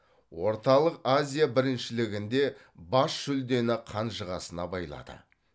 орталық азия біріншілігінде бас жүлдені қанжығасына байлады